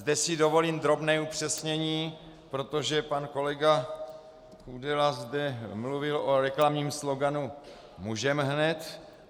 Zde si dovolím drobné upřesnění, protože pan kolega Kudela zde mluvil o reklamním sloganu "můžeme hned".